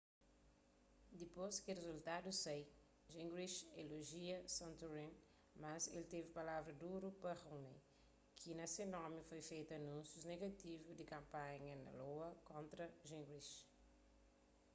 dipôs ki rizultadus sai gingrich elojia santorum mas el teve palavras duru pa romney ki na se nomi foi fetu anúnsius negativu di kanpanha na iowa kontra gingrich